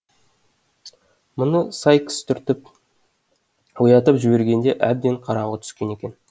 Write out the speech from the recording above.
мұны сайкс түртіп оятып жібергенде әбден қараңғы түскен екен